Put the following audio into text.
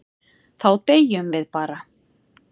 Þá deyjum við bara.